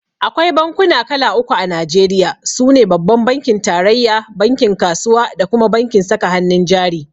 Akwai bankuna kala uku a Najeriya. sune Babban bankin tarayya, bankin kasuwa da kuma bankin saka hannun jari.